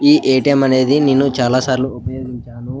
ఈ ఎ.టి.ఎం. అనేది నేను చాలా సార్లు ఉపయోగించాను.